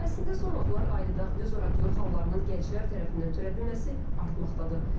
Əslində son vaxtlar ailədaxili zorakılıq hallarının gənclər tərəfindən törədilməsi artmaqdadır.